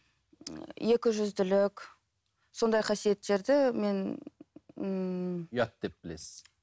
екіжүзділік сондай қасиеттерді мен ммм ұят деп білесіз